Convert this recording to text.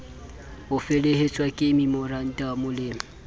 ho felehetswa ke memorandamo le